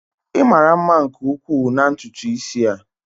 Ị mara mma nke ukwuu na ntutu isi a.